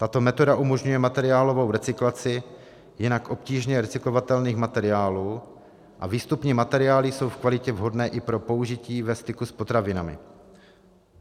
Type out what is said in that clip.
Tato metoda umožňuje materiálovou recyklaci jinak obtížně recyklovatelných materiálů a výstupní materiály jsou v kvalitě vhodné i pro použití ve styku s potravinami.